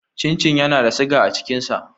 Cin cin yana da siga a cikin sa.